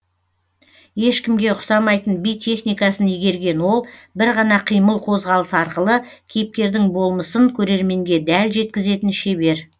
ешкімге ұқсамайтын би техникасын игерген ол бір ғана қимыл қозғалыс арқылы кейіпкердің болмысын көрерменге дәл жеткізетін шебер